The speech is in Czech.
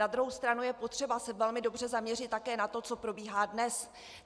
Na druhou stranu je potřeba se velmi dobře zaměřit také na to, co probíhá dnes.